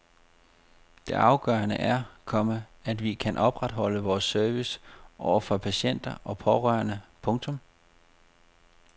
Det afgørende er, komma at vi kan opretholde vores service over for patienter og pårørende. punktum